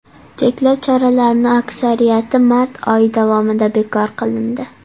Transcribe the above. Cheklov choralarining aksariyati mart oyi davomida bekor qilindi.